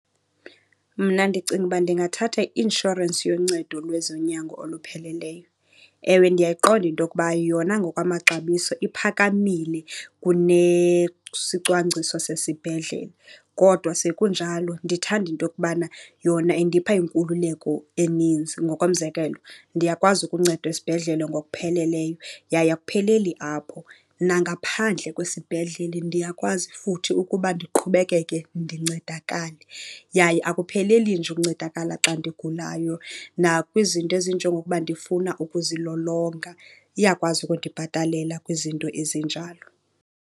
Mna ndicinga uba ndingathatha i-inshorensi yoncedo lwezonyango olupheleleyo. Ewe, ndiyayiqonda into yokuba yona ngokwamaxabiso iphakamile kunesicwangciso sesibhedlele kodwa sekunjalo ndithanda into yokubana yona indipha inkululeko eninzi. Ngokomzekelo, ndiyakwazi ukuncedwa esibhedlele ngokupheleleyo yaye akupheleli apho. Nangaphandle kwesibhedlele, ndiyakwazi futhi ukuba ndiqhubekeke ndincedakale. Yaye akupheleli nje ukuncedakala xa ndigulayo, nakwizinto ezinjengokuba ndifuna ukuzilolonga iyakwazi ukundibhatalela kwizinto ezinjalo.